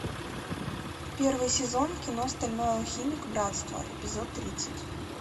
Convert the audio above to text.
первый сезон кино стальной алхимик братство эпизод тридцать